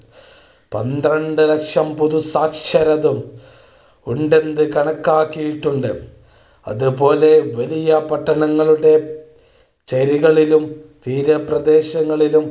പന്ത്രണ്ട് ലക്ഷം പുതുസാക്ഷരരും ഉണ്ടെന്നു കണക്കാക്കിയിട്ടുണ്ട്. അതുപോലെ, വലിയ പട്ടണങ്ങളുടെ ചേരികളിലും തീരപ്രദേശങ്ങളിലും